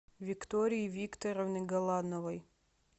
виктории викторовны галановой